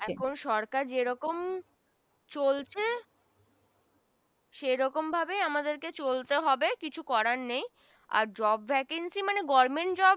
এখন সরকার যে রকম চলছে সে রকম ভাবে আমাদের কে চলতে হবে কিছু করার নেয় আর Job Vacancy মানে Government Job